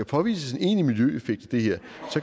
påvises en egentlig miljøeffekt i det her